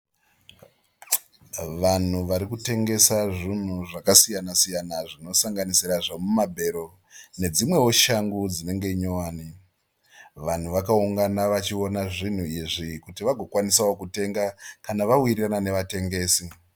Vanhu vari kutengesa zvinhu zvakasiyana siyana zvinosanganisira zvemumabhero nedzimwewo shangu dzinenge nyowani. Vanhu vakaungana vachiona zvinhu izvi kuti vagokwanisawo kutenga kana vawirirana nevatengesi.